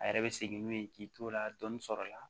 A yɛrɛ bɛ segin n'u ye k'i t'o la dɔni sɔrɔ la